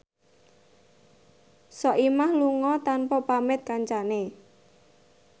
Soimah lunga tanpa pamit kancane